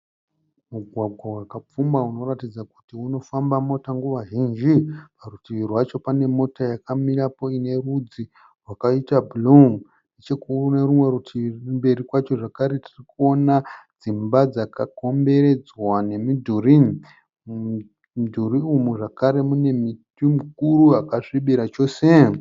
Mugwagwa wakapfumba unoratidza kuti unofamba mota nguva zhinji. Parutivi rwacho pane mota yakamirapo ine rudzi rwakaita bhuruu. Neche kunerimwe rutivi kumberi kwacho zvekare tirikuona dzimba dzaka komberedzwa nemidhuri. Mumudhurii umu zvakare mune muti mukuru wakasvibira chose .